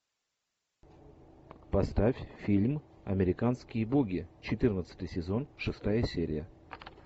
поставь фильм американские боги четырнадцатый сезон шестая серия